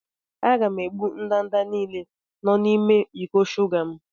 Aga m egbu ndanda niile nọ n'ime iko shuga m.